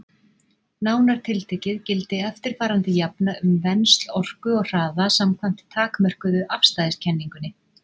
Nánar tiltekið gildi eftirfarandi jafna um vensl orku og hraða samkvæmt takmörkuðu afstæðiskenningunni: